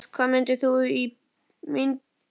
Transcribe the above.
Jóhannes, hvaða myndir eru í bíó á mánudaginn?